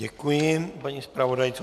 Děkuji paní zpravodajce.